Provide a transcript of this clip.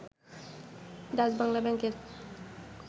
ডাচবাংলা ব্যাংকের